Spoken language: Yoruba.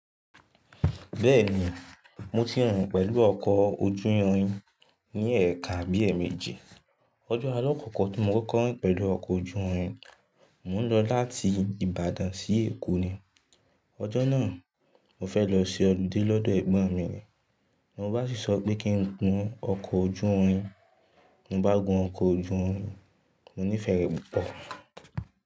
Bẹ́ẹ̀ni, mo ti rìn pẹ̀lú ọkọ̀ ojú irin ní ẹ̀ẹ̀kan abí e méjì. Ọjọ́ àla kọ̀ko ti mo kọ́ko rìn pẹ̀lú ọkọ̀ ojú irin, mò ń lọ láti Ìbàdàn sí Èkó ni. Ọjọ́ náà, mo fẹ́ lọ ṣe họliday lọ́dọ̀ ẹ̀gbọ́n mi o. Mo bá sì sọ pé kí n gun ọkọ̀ ojú irin, mo bá gun ọkọ̀ ojú irin, mo nífẹ̀ẹ́ rẹ̀ púpọ̀.